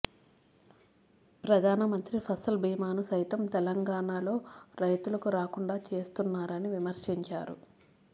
ప్రధానమంత్రి ఫసల్ బీమాను సైతం తెలంగాణలో రైతులకు రాకుండా చేస్తున్నారని విమర్శించారు